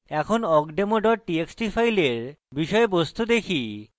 এখন awkdemo txt txt file বিষয়বস্তু দেখি